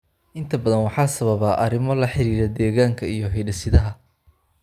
Inta badan waxaa sababa arrimo la xiriira deegaanka iyo hidde-sidaha.